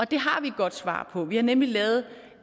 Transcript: det har vi et godt svar på vi har nemlig lavet